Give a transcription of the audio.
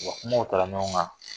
O hakilinaw ta la ɲɔgɔn kan